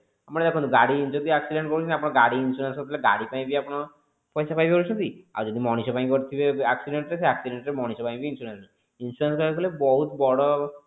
ଆମର ଦେଖନ୍ତୁ ଗାଡି ଯଦି accident କରୁଛନ୍ତି ଆପଣ ଗାଡି insurance ଗାଡି ପାଇଁ ବି ଆପଣ ପଇସା ପାଇଯାଉଛନ୍ତି ଆଉ ଯଦି ମଣିଷ ପାଇଁ କରିଥିବେ accident ରେ ସେଇ accident ରେ ମଣିଷ ପାଇଁ ବି insurance insurance ଦବାକୁ ହେଲେ ବହୁତ ବଡ